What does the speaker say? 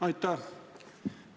Aitäh!